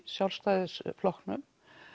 Sjálfstæðisflokknum